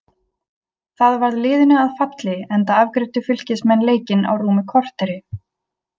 Það varð liðinu að falli enda afgreiddu Fylkismenn leikinn á rúmu korteri.